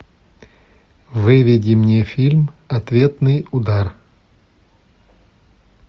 выведи мне фильм ответный удар